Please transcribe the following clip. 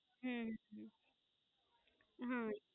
હમ હા